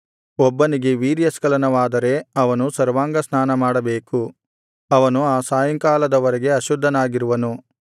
ಒಬ್ಬನಿಗೆ ವೀರ್ಯಸ್ಖಲನವಾದರೆ ಅವನು ಸರ್ವಾಂಗ ಸ್ನಾನಮಾಡಬೇಕು ಅವನು ಆ ಸಾಯಂಕಾಲದವರೆಗೆ ಅಶುದ್ಧನಾಗಿರುವನು